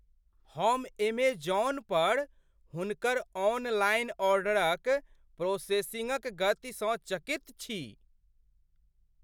हम एमेजॉन पर हुनकर ऑनलाइन ऑर्डरक प्रोसेसिंगक गतिसँ चकित छी।